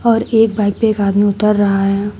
और एक बाइक पे एक आदमी उतर रहा है।